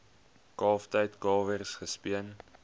kalftyd kalwers gespeen